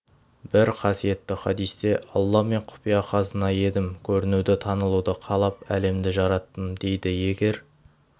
бір қасиетті хадисте алла мен құпия қазына едім көрінуді танылуды қалап әлемді жараттым дейді егер